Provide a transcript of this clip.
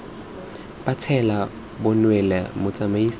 ba tsela bo neelwa motsamaisi